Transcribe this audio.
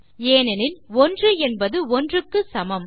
ஏனெனில் 1 என்பது 1 க்கு சமம்